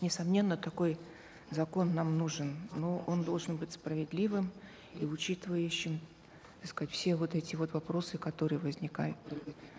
несомненно такой закон нам нужен но он должен быть справедливым и учитывающим так сказать все вот эти вот вопросы которые возникают